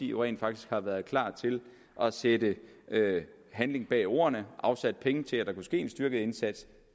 jo rent faktisk har været klar til at sætte handling bag ordene og afsætte penge til at der kunne ske en styrket indsats